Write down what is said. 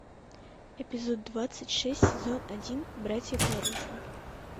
эпизод двадцать шесть сезон один братья по оружию